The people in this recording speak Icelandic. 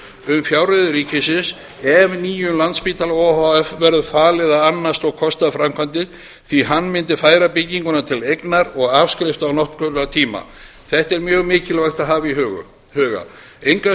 um fjárreiður ríkisins ef nýjum landspítala o h f verður falið að annast og kosta framkvæmdir því hann mundi færa bygginguna til eignar og afskrifta á notkunartíma þetta er mjög mikilvægt að hafa í huga engu að